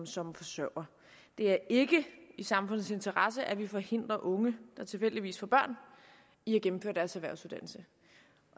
som forsørger det er ikke i samfundets interesse at vi forhindrer unge der tilfældigvis får børn i at gennemføre deres erhvervsuddannelse